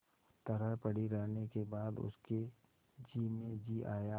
तरह पड़ी रहने के बाद उसके जी में जी आया